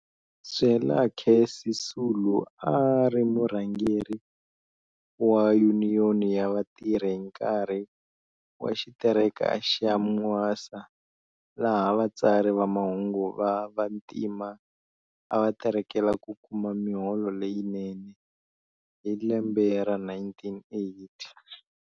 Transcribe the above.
Zwelakhe Sisulu a a ri murhangeri wa yuniyoni ya vatirhi hi nkarhi wa xitereka xa Mwasa laha vatsari va mahungu va vantima a va terekela ku kuma miholo leyinene, hi lembe ra 1980.